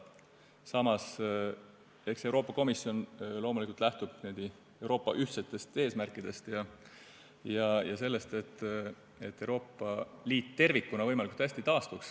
Samas, eks Euroopa Komisjon loomulikult lähtub Euroopa ühtsetest eesmärkidest ja sellest, et Euroopa Liit tervikuna võimalikult hästi taastuks.